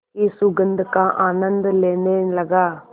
की सुगंध का आनंद लेने लगा